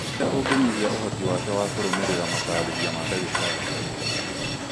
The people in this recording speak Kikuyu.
ũrĩa ũngĩnyihia ũhoti wake wa kũrũmĩrĩra matarĩria ma ndagĩtarĩ